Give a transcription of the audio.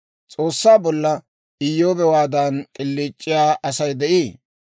«S'oossaa bolla Iyyoobewaadan k'iliic'iyaa Asay de'ii?